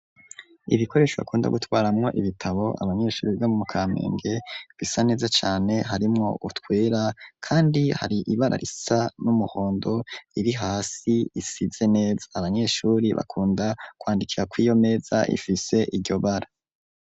Ibikoresho bakunda gutwaramwo ibitabo abanyeshuri biga mu Kamenge bisa neza cane harimwo utwera kandi hari ibara risa n'umuhondo riri hasi risize neza abanyeshuri bakunda kwandikira kuriyo meza ifise iryo bara.